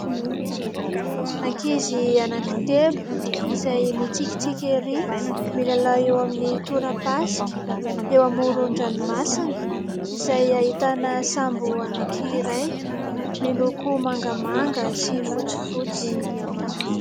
Ankizy anakitelo izay mitsikitsiky ery ! Milalao eo amin'ny torapasika eo amoron-dranomasina, izay ahitana sambo anankiray miloko mangamanga sy fotsifotsy.